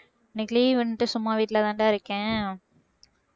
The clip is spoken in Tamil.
இன்னைக்கு leave ண்ட்டு சும்மா வீட்டுலதாண்டா இருக்கேன்